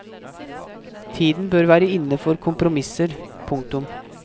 Tiden bør være inne for kompromisser. punktum